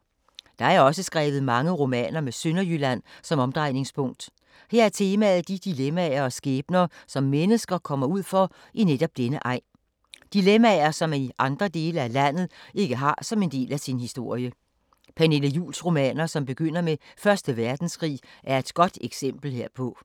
Der er også skrevet mange romaner med Sønderjylland som omdrejningspunkt. Her er temaet de dilemmaer og skæbner som mennesker kommer ud for i netop denne egen. Dilemmaer som man i andre dele af landet ikke har som en del af sin historie. Pernille Juhls romaner, som begynder med 1. verdenskrig, er et godt eksempel herpå.